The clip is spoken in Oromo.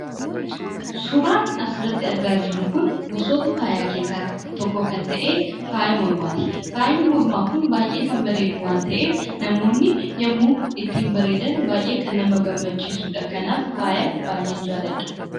Suuraan asirratti argaa jirru kun gosoota faayaa keessaa tokko kan ta'e faaya mormaati. Faayyi mormaa kun baayyee kan bareedu waan ta'eef , namoonni yommuu ittiin bareedan baayyee kan nama gammachiisudha. Kanaaf faaya baayyeen jaaladha.